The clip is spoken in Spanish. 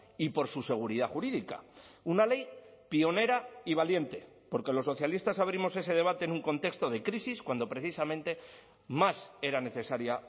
y por su seguridad jurídica una ley pionera y valiente porque los socialistas abrimos ese debate en un contexto de crisis cuando precisamente más era necesaria